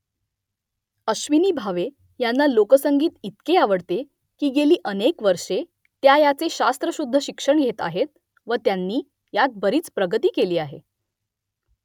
अश्विनी भावे यांना लोकसंगीत इतके आवडते की गेली अनेक वर्षे त्या याचे शास्त्रशुद्ध शिक्षण घेत आहेत व त्यांनी यात बरीच प्रगती केली आहे